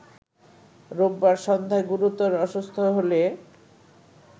রোববার সন্ধ্যায় গুরুতর অসুস্থ হলে